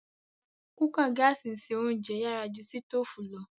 Kùkàa gààsi n se ounjẹ yàrà ju sitoofù lo.